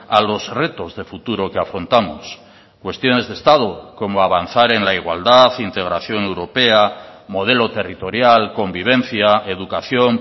a los retos de futuro que afrontamos cuestiones de estado como avanzar en la igualdad integración europea modelo territorial convivencia educación